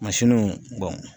Mansinuw bɔn